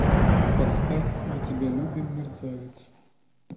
поставь мы тебя любим мерзавец